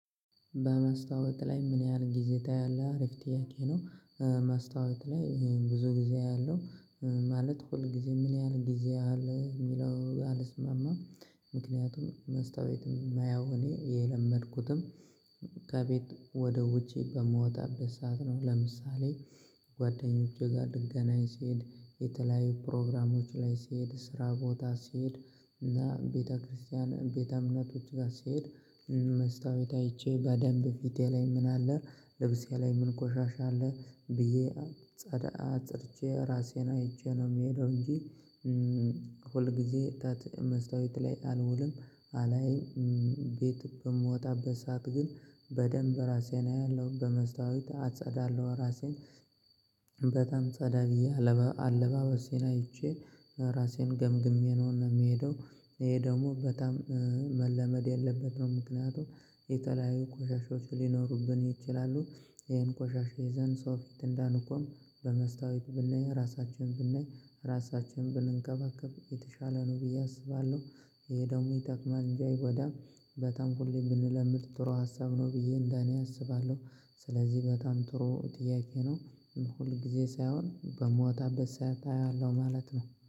በመስታወት ላይ ምን ያህል ጊዜ ታያለህ አሪፍ ጥያቄ ነው? መስታወት ላይ ብዙ ጊዜ አያለው። ማለት ሁል ጊዜ ምን ያህል ጊዜ ያህል የሚለው አልስማማም። ምክንያቱም መስታወትም የማየው እኔ የለመድኩትም። ከቤት ወደ ውጪ በምወጣበት ሰዓት ነው። ለምሳሌ ጓደኞቼ ጋር ልገናኝ ስሄድ የተለያዩ ፕሮግራሞች ላይ ስሄድ ስራ ቦታ ሲሄድ እና ቤተክርስቲያን ቤተ እምነቶች ጋር ሲሄድ። መስታወት አይቼ በደንብ ፊቴ ላይ ምን አለ? ልብሴ ላይ ምን ቆሻሻ አለ ብዬ። ጸዳ ፀድቼ ራሴን አይቼ ነው የምሄደው እንጂ። ሁልጊዜ ጠዋት መስታወት ላይ አልውልም አላይም። ቤት በምወጣበት ሰዓት ግን በደንብ ራሴን አያለሁ በመስታወት አጸዳለሁ ራሴን። በጣም ጸዳ ብዬ አለባበሴን አይቼ ራሴን ገምግሜ ነውና የሚሄደው። ይሄ ደግሞ በጣም መለመድ ያለበት ምክንያቱም የተለያዩ ቆሻሻዎች ሊኖሩብን ይችላሉ። ይሄን ቆሻሻ ይዘን ሰው ፊት እንዳንቆም በመስታወት ብናይ ራሳችንን ብናይ ራሳችንን ብንንከባከብ የተሻለ ነው ብዬ አስባለሁ። ይሄ ደግሞ ይጠቅማል እንጂ አይጎዳም። በጣም ሁሌ ብንለምድ ጥሩ ሀሳብ ነው ብዬ እንደኔ አስባለሁ። ስለዚህ በጣም ጥሩ ጥያቄ ነው። ሁል ጊዜ ሳይሆን በምወጣበት ሰዓት አየዋለሁ ማለት ነው